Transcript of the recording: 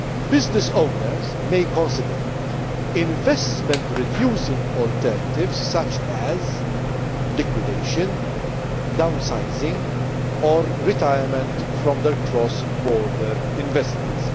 business owners may consider investment reducing alternatives such as liquidation, down sizing or retirement from their cross border investments.